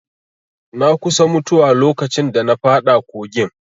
Na kusa mutuwa lokacin da na faɗa kogin